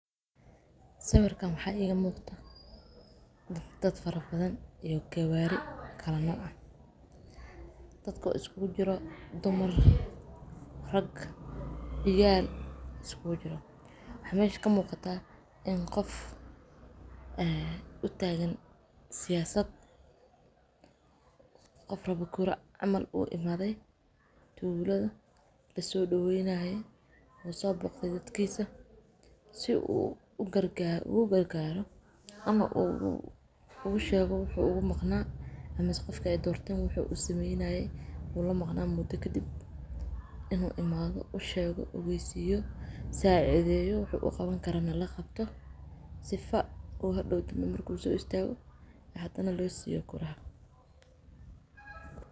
Sawirkaan waxa iga muqdo daad farabadhan iyo gawari kala nooc ah daadko iskugu jiiro; dumar, raag iyo ciyaal isku jiiro. Waxa mesha ka mugata in qoof u tagaan siyasat qoof rawa kura camal imadhay tuuladha lasodaweynaye soboqde dadkisa si ugagargaro ama u ugushego wuxu uga maqna ama mis qofka ay doorteen wuxu usameynaye ulamaqna muda kadib inu imadho ushego ogaysiyo sacidheyo wuxu uqawan karana laqabto sifa oo hadawtani marku so istago hadana loo siyo kuraha.